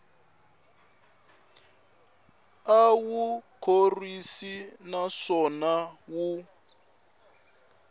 a wu khorwisi naswona wu